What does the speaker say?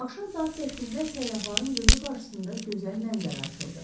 Axşam saat 8-də səyyahların gözü qarşısında gözəl mənzərə açıldı.